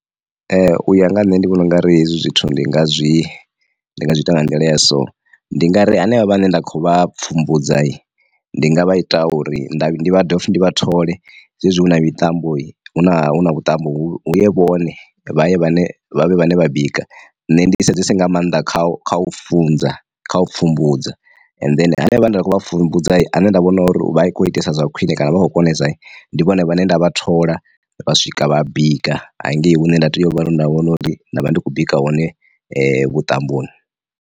Uya nga nṋe ndi vhona ungari hezwi zwithu ndi nga zwi nga zwi ita nga nḓila ya so, ndi nga ri henevha vha ne nda khou vha pfumbudza ndi nga vha ita uri ndi dovhe futhi ndi vha thole zwezwi hu na mitambo hu na hu na vhuṱambo hu ye vhone vhaṋe vha vhane vha bika nṋe ndi sedzesa nga maanḓa kha kha u funza kha u pfhumbudza and then hanevha nda kho vha pfumbudza ane nda vhona uri vha i khou itesa zwa khwine kana vha khou konesa ndi vhone vhane nda vha thola vha swika vha bika hangei hune nda tea u vhari nda vhona uri nda vha ndi khou bika hone vhuṱamboni.